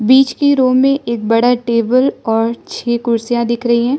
बीच के रूम में एक बड़ा टेबल और छे कुर्सियां दिख रही है।